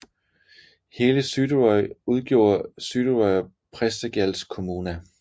Hele Suðuroy udgjorde Suðuroyar prestagjalds kommuna